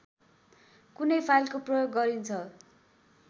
कुनै फाइलको प्रयोग गरिन्छ